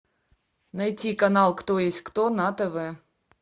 найти канал кто есть кто на тв